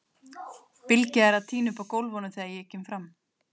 Bylgja er að tína upp af gólfunum þegar ég kem fram.